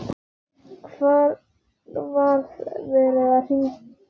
Var verið að hirða hann?